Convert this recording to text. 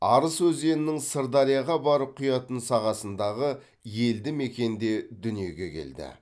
арыс өзенінің сырдарияға барып құятын сағасындағы елді мекенде дүниеге келді